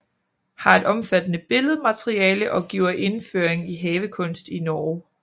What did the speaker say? Har et omfattende billedmateriale og giver indføring i havekunst i Norge